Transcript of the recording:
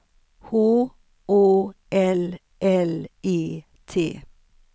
H Å L L E T